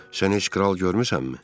Sən heç kral görmüsənmi?